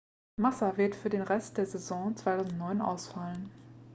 massa wird für den rest der saison 2009 ausfallen